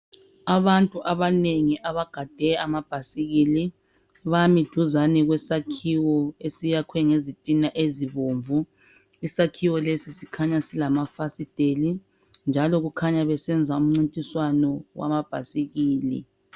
Abantu abanengi abagade amabhasikili bami duzane kwesakhiwo esiyakhwe ngezitina ezibomvu isakhiwo lesi sikhanya silamafasiteli njalo kukhanya besenza umncintiswano wamabhasikili.